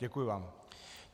Děkuji vám.